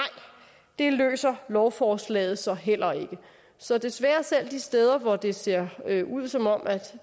det løser lovforslaget så heller ikke så desværre selv de steder hvor det ser ud som om